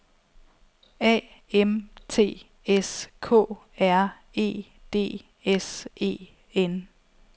A M T S K R E D S E N